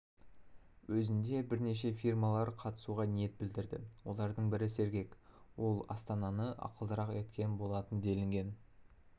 өзінде бірнеше фирмалар қатысуға ниет білдірді олардың бірі сергек ол астананы ақылдырақ еткен болатын делінген